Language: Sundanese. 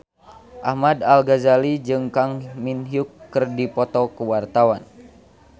Ahmad Al-Ghazali jeung Kang Min Hyuk keur dipoto ku wartawan